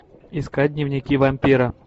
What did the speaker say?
искать дневники вампира